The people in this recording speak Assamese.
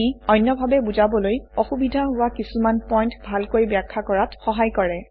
ই অন্যভাৱে বুজাবলৈ অসুবিধা হোৱা কিছুমান পইণ্ট ভালকৈ ব্যাখ্যা কৰাত সহায় কৰে